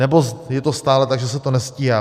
Nebo je to stále tak, že se to nestíhá?